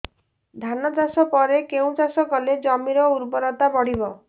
ଧାନ ଚାଷ ପରେ କେଉଁ ଚାଷ କଲେ ଜମିର ଉର୍ବରତା ବଢିବ